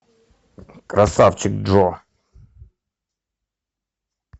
красавчик джо